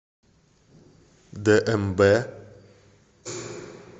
дмб